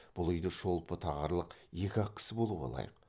бұл үйде шолпы тағарлық екі ақ кісі болуға лайық